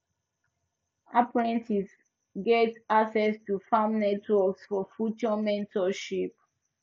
apprentices get access to farm networks for future mentorship